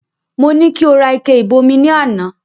Mo ní kí o rà ike ìbomi ní àná